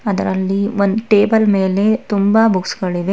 ಅದರಲ್ಲಿ ಒಂದು ಟೇಬಲ್ ಮೇಲೆ ತುಂಬಾ ಬುಕ್ಸ್ ಗಳಿವೆ.